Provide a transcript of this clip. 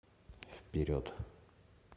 вперед